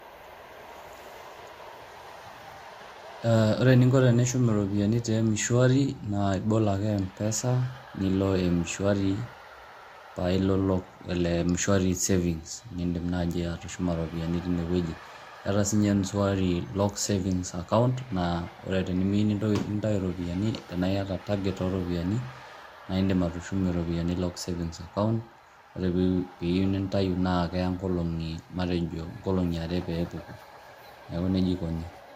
Ore eninko tenishum iropiani te m-shuari naa ibol ake mpesa nilo m-shuari, pae ilo lock le m-shuari savings nindim naaji atushuma ropiani tine wueji. Keeta sinye m-shuari lock savings account, naa ore tenimiyu nintayu iropiani anake iyata target o ropiani naake indim atushumie ropiani lock savings account, ore piiyu nintayu naake eya inkolong'i inkolong'i matejo are pee epuku neeku neija ikuni.